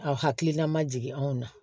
Aw hakilina ma jigin anw na